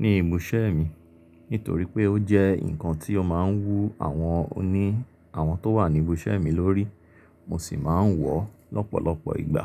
ní ibùṣẹ́ mi nítorí pé ó jẹ́ nǹkan tí ó máa ń wú àwọn oní àwọn tó wà ní ibùṣẹ́ mi lórí. Mo sì máa ń wọ̀ lọ́pọ̀lọpọ̀ ìgbà.